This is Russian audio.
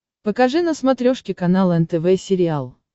покажи на смотрешке канал нтв сериал